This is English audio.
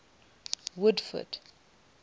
woodford